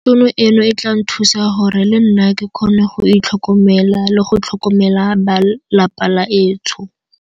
Tšhono eno e tla nthusa gore le nna ke kgone go itlhokomela le go tlhokomela ba lapa la etsho.